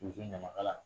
K'u to ɲamaka la